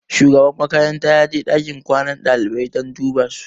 Shugaban makaranta ya je ɗakin kwanan ɗalibai don duba su.